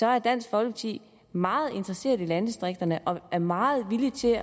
er dansk folkeparti meget interesseret i landdistrikterne og er meget villige til